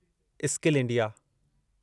skill India